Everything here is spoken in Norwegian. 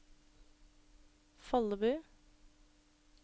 Follebu